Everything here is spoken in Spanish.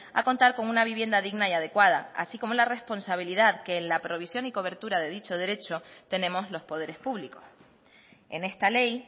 a contar con una vivienda digna y adecuada así como la responsabilidad que en la provisión y cobertura de dicho derecho tenemos los poderes públicos en esta ley